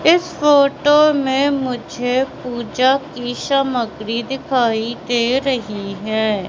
इस फोटो में मुझे पूजा की सामग्री दिखाई दे रही है।